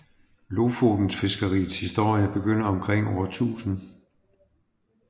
Lofotenfiskeriets historie begynder omkring år 1000